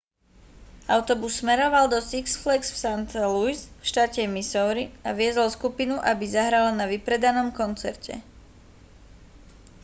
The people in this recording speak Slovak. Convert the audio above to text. autobus smeroval do six flags v st louis v štáte missouri a viezol skupinu aby zahrala na vypredanom koncerte